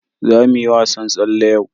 Za mu yi wasan tsalle yau.